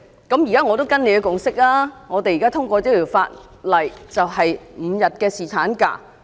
我現在跟隨這共識，我們通過這法例，立即實施5天侍產假。